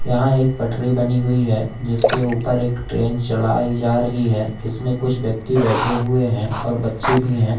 यहां एक पटरी बनी हुई है जिसके ऊपर एक ट्रेन चलाई जा रही है इसमें कुछ व्यक्ति बैठे हुए हैं और बच्चे भी हैं।